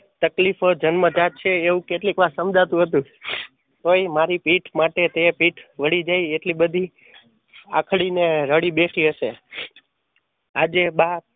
તકલીફ જન્મ જાત છે એ કેતકલીક વાર સમજાતું હતું તોય મારી પીઠ માટે તે પીથ વળી જાય એટલે બધી આંખડી ને રડી બેસી હશે આજે બા